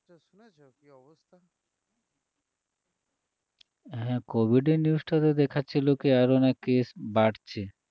হ্যাঁ covid এর news টাতে দেখাচ্ছিল কী আরও নাকি case বাড়ছে